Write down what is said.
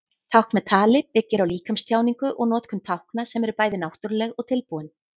Tákn með tali byggir á líkamstjáningu og notkun tákna sem eru bæði náttúruleg og tilbúin.